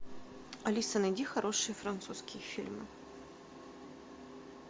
алиса найди хорошие французские фильмы